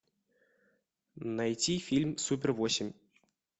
найти фильм супер восемь